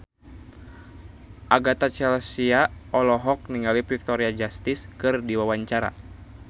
Agatha Chelsea olohok ningali Victoria Justice keur diwawancara